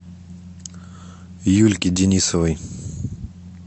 юльки денисовой